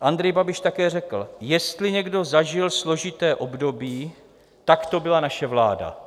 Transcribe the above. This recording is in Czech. Andrej Babiš také řekl: "Jestli někdo zažil složité období, tak to byla naše vláda."